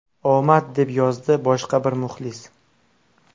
Omad”, deb yozdi boshqa bir muxlis.